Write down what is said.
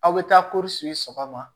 Aw bɛ taa sɔgɔma